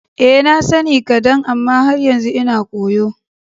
Eh, na sani kadan amma har yanzu ina koyo.